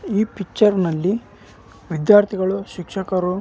ಈ ಚಿತ್ರದಲ್ಲಿ ಕೆಲವು ಹುಡುಗರು ನಿಂತಿರುವುದನ್ನು ನೋಡಬಹುದು ಹಾಗು --